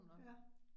Ja